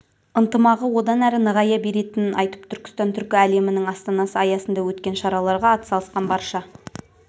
ынтымағы одан әрі нығая беретінін айтып түркістан түркі әлемінің астанасы аясында өткен шараларға атсалысқан барша